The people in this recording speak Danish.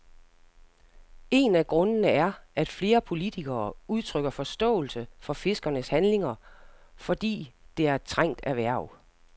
En af grundene er, at flere politikere udtrykker forståelse for fiskernes handlinger, fordi det er et trængt erhverv.